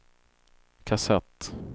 kassett